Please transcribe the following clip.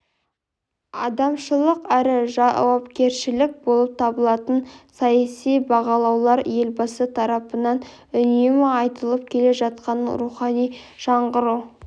адамшылық әрі жауапкершілік болып табылатынын саяси бағалаулар елбасы тарапынан үнемі айтылып келе жатқанын рухани жаңғыру